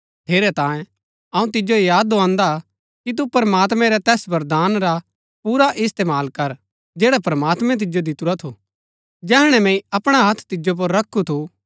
ठेरैतांये अऊँ तिजो याद दोआन्‍दा कि तू प्रमात्मैं रै तैस वरदान रा पुरा इस्तेमाल कर जैड़ा प्रमात्मैं तिजो दितुरा थू जैहणै मैंई अपणा हत्थ तिजो पुर रखु थू